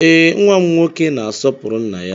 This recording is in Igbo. Ee, nwa m nwoke na-asopụrụ nna-ya